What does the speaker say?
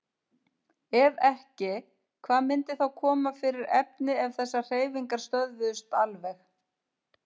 Ef ekki, hvað myndi þá koma fyrir efni ef þessar hreyfingar stöðvuðust alveg?